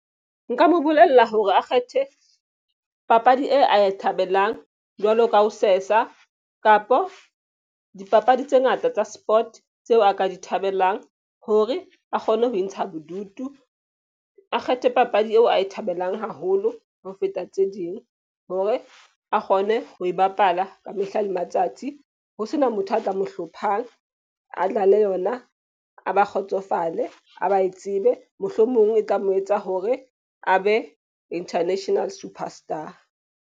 Nka mo bolella hore a kgethe papadi e a e thabelang jwalo ka ho sesa kapo dipapadi tse ngata tsa sport, tseo a ka di thabelang. Hore a kgone ho intsha bodutu, a kgethe papadi eo a e thabelang haholo ho feta tse ding. Hore a kgone ho e bapala ka mehla le matsatsi ho sena motho a tla mo hlophang. A dlale yona, a ba kgotsofale, a ba e tsebe, mohlomong e tla mo etsa hore a be international superstar.